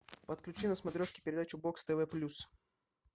подключи на смотрешке передачу бокс тв плюс